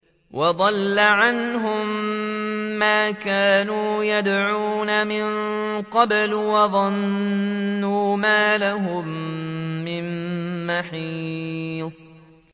وَضَلَّ عَنْهُم مَّا كَانُوا يَدْعُونَ مِن قَبْلُ ۖ وَظَنُّوا مَا لَهُم مِّن مَّحِيصٍ